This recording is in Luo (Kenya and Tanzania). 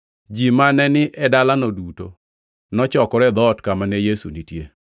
Ji mane ni e dalano duto nochokore e dhoot kama ne Yesu nitie,